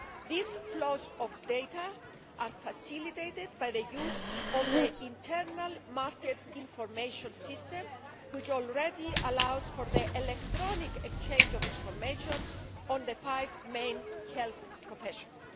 Those flows of data are facilitated by the use of the internal market information system, which already allows for the electronic exchange of information on the five main health professions.